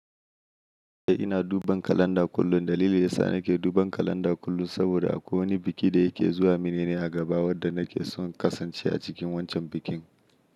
Eh ina duban kalanda kullum. Dalilin yasa nake duban kalanda kullum saboda a kowane biki da yake zuwa min ne a gaba wadda nake son kasancewa a cikin wancan bikin.